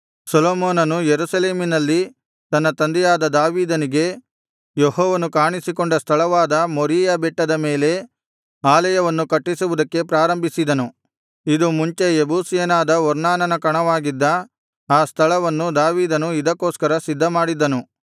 ಸೊಲೊಮೋನನು ಯೆರೂಸಲೇಮಿನಲ್ಲಿ ತನ್ನ ತಂದೆಯಾದ ದಾವೀದನಿಗೆ ಯೆಹೋವನು ಕಾಣಿಸಿಕೊಂಡ ಸ್ಥಳವಾದ ಮೋರೀಯಾ ಬೆಟ್ಟದ ಮೇಲೆ ಆಲಯವನ್ನು ಕಟ್ಟಿಸುವುದಕ್ಕೆ ಪ್ರಾರಂಭಿಸಿದನು ಇದು ಮುಂಚೆ ಯೆಬೂಸಿಯನಾದ ಒರ್ನಾನನ ಕಣವಾಗಿದ್ದ ಆ ಸ್ಥಳವನ್ನು ದಾವೀದನು ಇದಕ್ಕೋಸ್ಕರ ಸಿದ್ಧಮಾಡಿದ್ದನು